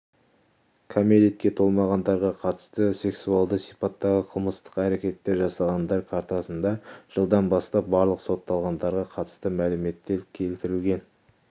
кәмелетке толмағандарға қатысты сексуалды сипаттағы қылмыстық әрекеттер жасағандар картасында жылдан бастап барлық сотталғандарға қатысты мәліметтер келтірілген